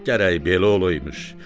Gərək belə olaymış,